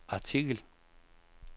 artikel